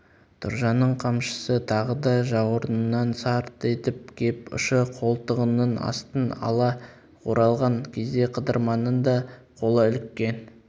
тұржанның қамшысы тағы да жауырынынан сарт етіп кеп ұшы қолтығының астын ала оралған кезде қыдырманның да қолы іліккен